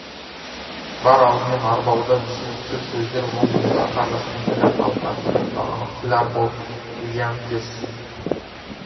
бар алдымен арбауда түсініксіз сөздер мол болса қарғыстың тілі халыққа түсінікті анық тіл арбау зиянкес